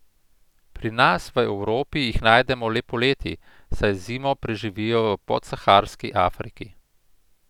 Pri nas v Evropi jih najdemo le poleti, saj zimo preživijo v podsaharski Afriki.